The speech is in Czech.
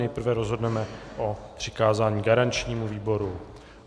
Nejprve rozhodneme o přikázání garančnímu výboru.